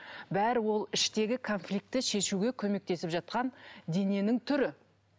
бәрі ол іштегі конфликтті шешуге көмектесіп жатқан дененің түрі